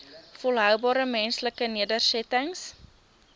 volhoubare menslike nedersettings